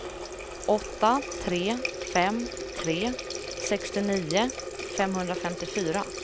åtta tre fem tre sextionio femhundrafemtiofyra